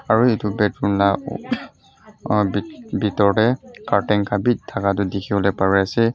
aru etu laga bethroom laga bitor te curtain khan bhi thakha bhi dekhi pari ase.